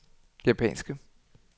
japanske